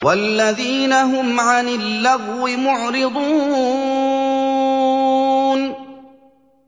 وَالَّذِينَ هُمْ عَنِ اللَّغْوِ مُعْرِضُونَ